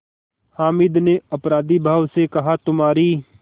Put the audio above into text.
हामिद ने अपराधीभाव से कहातुम्हारी